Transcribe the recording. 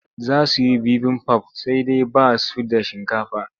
Za su yi bibimbaf sai dai ba su da shinkafa.